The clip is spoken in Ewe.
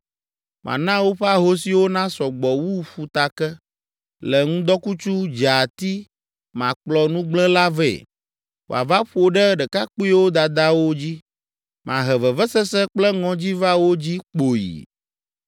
Mana woƒe ahosiwo nasɔ gbɔ wu ƒutake. Le ŋdɔkutsu dzeati makplɔ nugblẽla vɛ, wòava ƒo ɖe ɖekakpuiwo dadawo dzi. Mahe vevesese kple ŋɔdzi va wo dzi kpoyi!